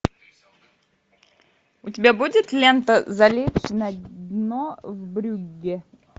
у тебя будет лента залечь на дно в брюгге